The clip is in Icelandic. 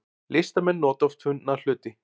Listamenn nota oft fundna hluti